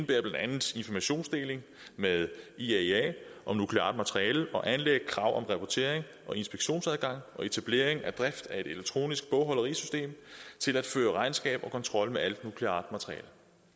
blandt andet informationsdeling med iaea om nukleart materiale og anlæg krav om rapportering og inspektionsadgang og etablering af drift af et elektronisk bogholderisystem til at føre regnskab og kontrol med alt nukleart materiale